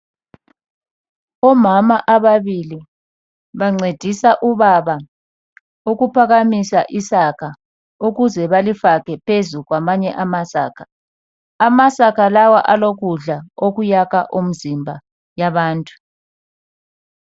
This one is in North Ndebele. Omama ababili bancedisa ubaba ukuphakamisa isaka ukuze balifake phezu kwamanye amasaka. Amasaka lawa alokudla okuyakha umzimba yabantu.